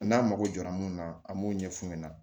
N'an mago jɔra mun na an b'o ɲɛ fu ɲɛna